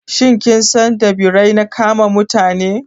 Shin kin san da Birai na kama da Mutane?